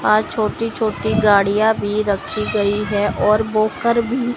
और छोटी छोटी गाड़ियां भी रखी गई है और वॉकर भी--